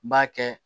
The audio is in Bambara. N b'a kɛ